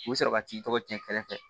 U bɛ sɔrɔ ka t'i tɔgɔ cɛn kɛrɛ fɛ